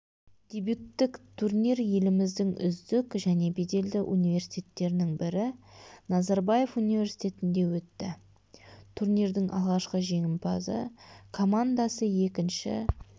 дебюттік турнир еліміздің үздік және беделді университеттерінің бірі назарбаев университетінде өтті турнирдің алғашқы жеңімпазы командасы екінші